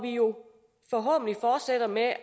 jo forhåbentlig fortsætter med